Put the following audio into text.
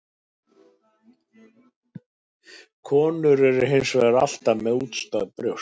Konur eru hins vegar alltaf með útstæð brjóst.